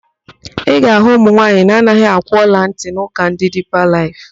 Ị ga-ahụ ụmụnwaanyị na-anaghị akwụ ọlantị n'ụka ndị Diipa Laịf.